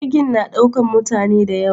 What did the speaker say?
Jirgi na ɗaukan mutane dayawa